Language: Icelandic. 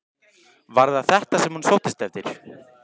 Var það þetta sem hún sóttist eftir?